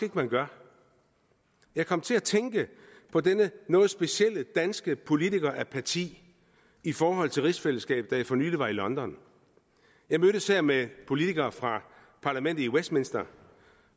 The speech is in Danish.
at man gør jeg kom til at tænke på denne noget specielle danske politikerapati i forhold til rigsfællesskabet da jeg for nylig var i london jeg mødtes her med politikere fra parlamentet i westminster